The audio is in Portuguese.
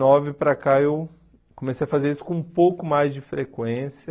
nove para cá eu comecei a fazer isso com um pouco mais de frequência.